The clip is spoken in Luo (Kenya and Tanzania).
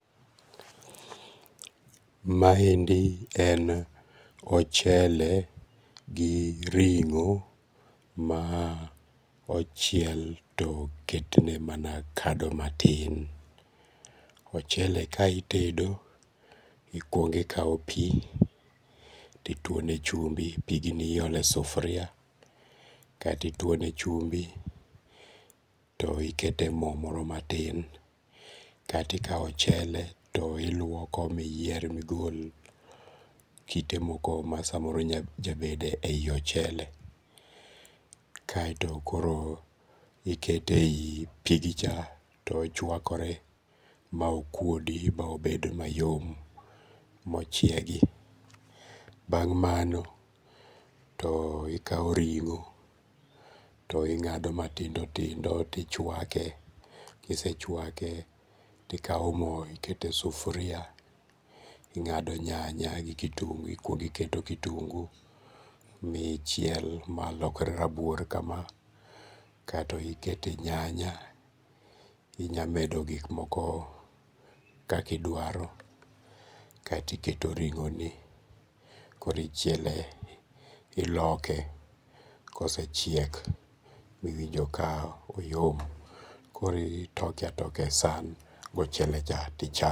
Ma endi en ochele gi ringó ma ochiel to oketne mana kado matin. Ochele ka itedo, ikwongo ikawo pi, ti twone chumbi. Pigni iolo e sufria, kaeto itwone chumbi to ikete mo moro matin, kaeto ikao ochele to ilwoko ma iyier, ma igol kite moko ma samoro nya jabede ei ochele. Kaeto koro ikete ei pigi cha to ochwakore ma okwodi ba obed mayom, ma ochiegi. Bang' mano to ikao ringó, to ingádo matindo tindo to ichwake, ka isechwake to ikao mo ikete sufria. Ingádo nyanya gi kitungu, ikwongo iketo kitungu michiel ma lokre rabuor kama, kaeto ikete nyanya. Inyamedo gik moko kaka idwaro, kaeto iketo ringoni, koro ichiele, iloke. Ka osechiek ma iwinjo ka oyom, koro itoke a toka e san gi ochele cha, tichame.